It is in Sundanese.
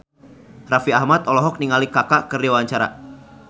Raffi Ahmad olohok ningali Kaka keur diwawancara